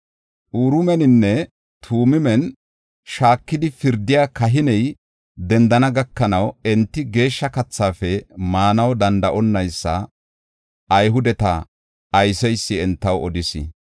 Uriimeninne Tumiimen shaakidi pirdiya kahiney dendana gakanaw, enti geeshsha kathaafe maanaw danda7onaysa Ayhudeta ayseysi entaw odis.